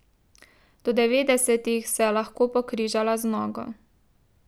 Do devetdesetih se je lahko pokrižala z nogo.